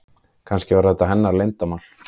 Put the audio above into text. Kannski var þetta hennar leyndarmál.